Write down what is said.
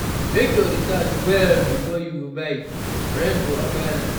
Make your research well before you buy, rent or aquire land